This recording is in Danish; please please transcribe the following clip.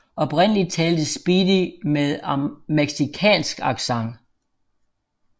Oprindeligt talte Speedy med mexicansk accent